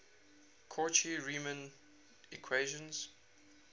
cauchy riemann equations